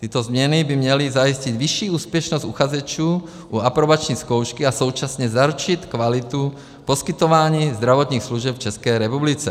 Tyto změny by měly zajistit vyšší úspěšnost uchazečů u aprobační zkoušky a současně zaručit kvalitu poskytování zdravotních služeb v České republice.